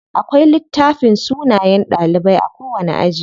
Akwai littafin sunayen ɗalibai a kowani aji.